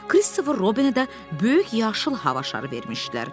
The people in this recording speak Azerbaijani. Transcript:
Christopher Robinə də böyük yaşıl hava şarı vermişdilər.